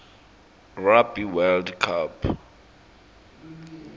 rugby world cup